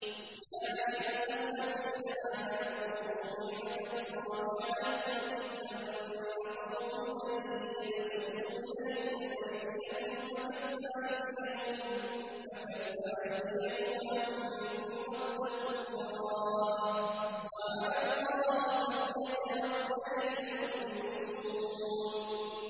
يَا أَيُّهَا الَّذِينَ آمَنُوا اذْكُرُوا نِعْمَتَ اللَّهِ عَلَيْكُمْ إِذْ هَمَّ قَوْمٌ أَن يَبْسُطُوا إِلَيْكُمْ أَيْدِيَهُمْ فَكَفَّ أَيْدِيَهُمْ عَنكُمْ ۖ وَاتَّقُوا اللَّهَ ۚ وَعَلَى اللَّهِ فَلْيَتَوَكَّلِ الْمُؤْمِنُونَ